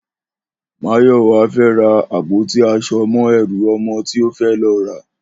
Máyò̩wá fé̩ ra àpótí as̩o̩ mó̩ e̩rù o̩mo̩ tí ó fé̩ lo̩ rà